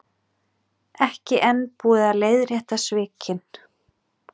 Ekki enn búið að leiðrétta svikin